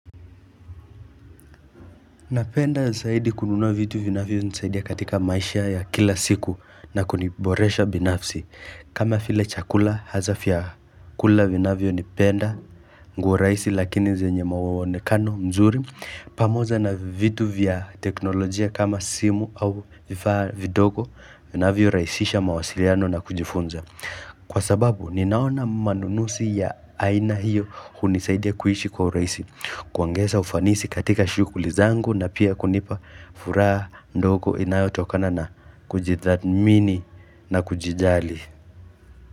Napenda zaidi kununua vitu vinavyo nisaidia katika maisha ya kila siku na kuniboresha binafsi. Kama file chakula, haza fya kula vinavyo nipenda, nguo raisi lakini zenye mawawonekano mzuri. Pamoza na vitu vya teknolojia kama simu au vifaa vidogo, vinavyo raisisha mawasiliano na kujifunza. Kwa sababu, ninaona manunusi ya aina hiyo hunisaidia kuishi kwa uraisi. Kuongeza ufanisi katika shukuli zangu na pia kunipa furaha ndoko inayotokana na kujithatmini na kujijali.